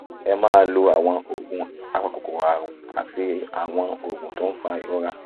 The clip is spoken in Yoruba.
ẹ máa lo àwọn oògùn apakòkòrò àrùn àti àwọn oògùn tó ń fa ìrora